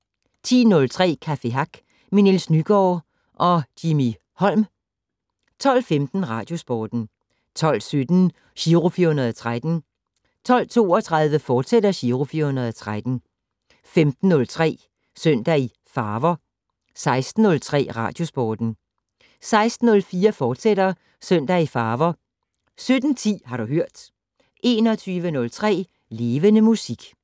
10:03: Café Hack med Niels Nygaard og Jimmy Holm 12:15: Radiosporten 12:17: Giro 413 12:32: Giro 413, fortsat 15:03: Søndag i Farver 16:03: Radiosporten 16:04: Søndag i Farver, fortsat 17:10: Har du hørt 21:03: Levende Musik